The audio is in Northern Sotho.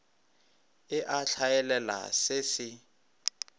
e a hlaelela se se